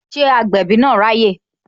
Ṣé agbẹ̀bí na ráyè?